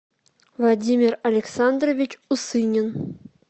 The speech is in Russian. владимир александрович усынин